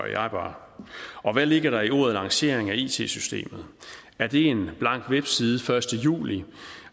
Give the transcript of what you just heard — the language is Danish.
bare og hvad ligger der i ordene lancering af it systemet er det en blank webside den første juli